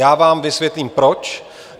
Já vám vysvětlím, proč.